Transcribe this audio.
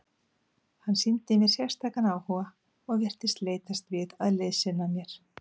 Hann sýndi mér sérstakan áhuga og virtist leitast við að liðsinna mér.